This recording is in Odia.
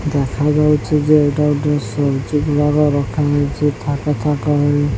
ଦେଖା ଯାଉଛି ଯେ ଏଇଟା ଗୋଟିଏ ରଖା ଯାଇଛି ଥାକ ଥାକ ହୋଇ।